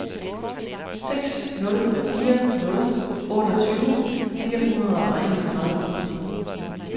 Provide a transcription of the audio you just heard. seks nul fire nul otteogtyve fire hundrede og enogtredive